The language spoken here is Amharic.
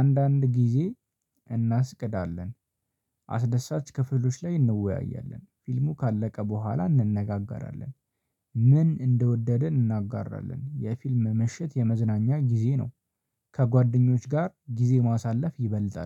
አንዳንድ ጊዜ እናስቅዳለን። አስደሳች ክፍሎች ላይ እንወያያለን። ፊልሙ ካለቀ በኋላ እንነጋገራለን። ምን እንደወደደ እናጋራለን የፊልም ምሽት የመዝናኛ ጊዜ ነው ከጓደኞች ጋር ጊዜ ማሳለፍ ይበልጣል።